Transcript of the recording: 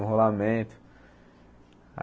Um rolamento.